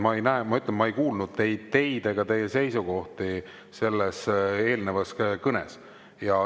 Ma ütlen, et ma ei kuulnud ei teid ega teie seisukohti mainitavat selles eelnevas kõnes.